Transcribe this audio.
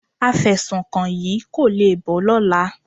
Afẹ̀sùnkàn yìí kò le bọ́ lọ́la.